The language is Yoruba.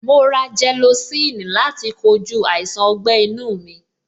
Mo ra gelocin fún láti kojú àìsàn ọgbẹ́-inu mi.